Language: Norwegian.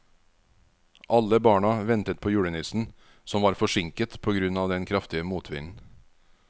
Alle barna ventet på julenissen, som var forsinket på grunn av den kraftige motvinden.